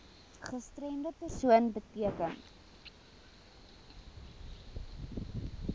gestremde persoon beteken